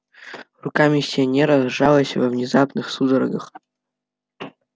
рука миссионера сжалась во внезапных судорогах